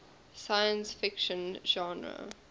science fiction genre